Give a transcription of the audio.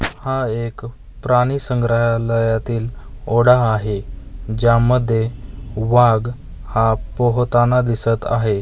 हा एक प्राणी संग्रहालयातील ओढा आहे ज्यामध्ये वाघ हा पोहताना दिसत आहे.